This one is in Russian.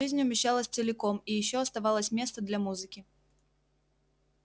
жизнь умещалась целиком и ещё оставалось место для музыки